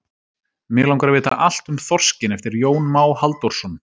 Mig langar að vita allt um þorskinn eftir Jón Má Halldórsson.